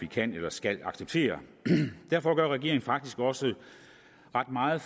kan eller skal acceptere derfor gør regeringen faktisk også ret meget